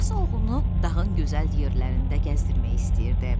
Atası oğlunu dağın gözəl yerlərində gəzdirmək istəyirdi.